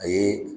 A ye